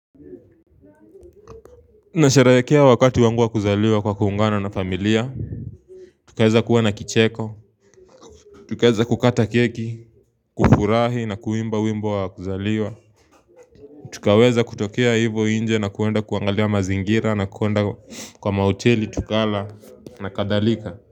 Nasheherekea wakati wangu wa kuzaliwa kwa kuungana na familia Tukaeza kuwa na kicheko Tukaeza kukata keki, kufurahi na kuimba wimbo wa kuzaliwa Tukaweza kutokea hivo inje na kuenda kuangalia mazingira na kuenda kwa mahoteli tukala na kadhalika.